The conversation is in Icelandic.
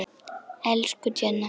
Elsku Jenna.